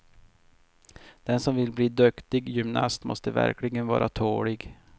Den som vill bli duktig gymnast måste verkligen vara tålig.